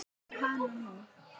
Og hana nú!